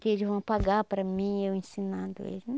Que eles vão pagar para mim, eu ensinando eles.